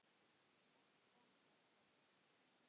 Gott framtak það.